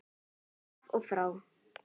Af og frá.